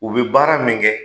U be baara min kɛ